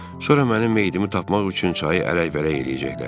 Sonra mənim meyidimi tapmaq üçün çayı ələk-vələk eləyəcəklər.